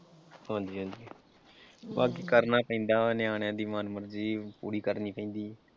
ਹਾਂਜੀ ਹਾਂਜੀ ਬਸ ਕਰਨਾ ਪੈਂਦਾ ਨਿਆਣਿਆਂ ਦੀ ਮਨਮਰਜ਼ੀ ਪੂਰੀ ਕਰਨੀ ਪੈਂਦੀ ਐ।